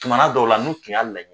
Tuma na dɔw la, n'u tun y'a layɛ